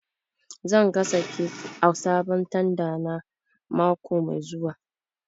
Zan gasa kek a sabon tanda na mako mai zuwa